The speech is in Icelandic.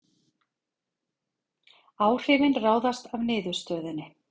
Áhrifin ráðast af niðurstöðunni